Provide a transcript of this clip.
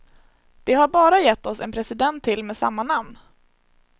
De har bara gett oss en president till med samma namn.